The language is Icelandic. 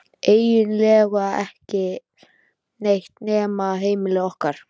Eiginlega ekki neitt nema heimili okkar.